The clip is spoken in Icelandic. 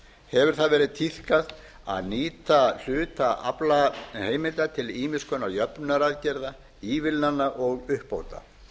hefur það verið tíðkað að nýta hluta aflaheimilda til ýmissa jöfnunaraðgerða ívilnana og uppbóta